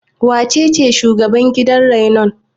Wacece shugaban gidan rainon?